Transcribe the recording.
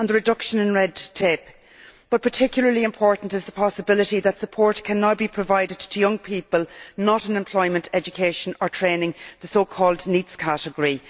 and the reduction in red tape. But particularly important is the possibility that support can now be provided to young people not in employment, education or training, the so called NEETs category.